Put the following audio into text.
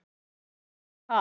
Mér er kalt.